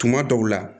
Tuma dɔw la